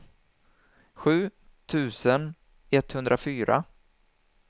sju tusen etthundrafyra